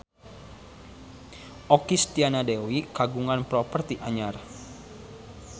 Okky Setiana Dewi kagungan properti anyar